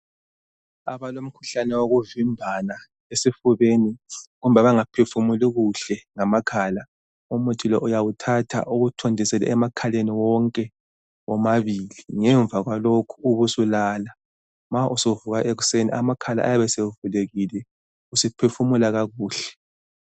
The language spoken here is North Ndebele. Abalomkhuhlane wokuvimbana esifubeni, kumbe abangaphefumuli kuhle ngamakhala, umuthi lo uyawuthatha uwuthontisele emakhaleni wonke womabili. Ngemva kwalokho ubusulala. Ma usuvuka ekuseni amakhala ayabesevulekile, usuphefumula kakuhle.